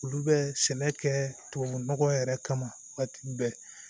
Olu bɛ sɛnɛ kɛ tubabu nɔgɔ yɛrɛ kama waati bɛɛ